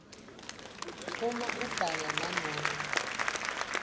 uma abhala nanobe